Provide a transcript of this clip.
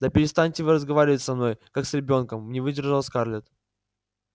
да перестаньте вы разговаривать со мной как с ребёнком не выдержала скарлетт